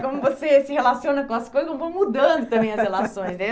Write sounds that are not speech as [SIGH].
[LAUGHS] Como você se relaciona com as coisas, como vão mudando também as relações, né?